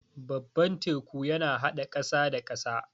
Babban teku yana haɗa ƙasa da ƙasa.